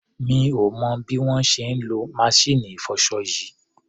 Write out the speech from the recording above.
Mi ò mọ̀ bí wọ́n ṣe ń lo maṣíìnì ìfọṣọ yìí.